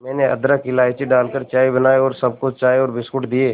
मैंने अदरक इलायची डालकर चाय बनाई और सबको चाय और बिस्कुट दिए